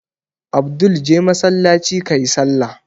Abdul je masallaci ka yi sallah!